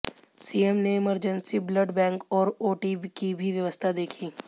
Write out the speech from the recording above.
CM ने emergency blood bank और OT की भी व्यवस्था देखी